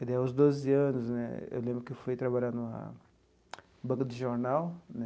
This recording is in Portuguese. E daí aos doze anos né, eu lembro que fui trabalhar numa banca de jornal né.